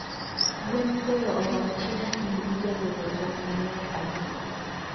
gwen miweyo orang chiemo kendgi jagolo tong maler ahinya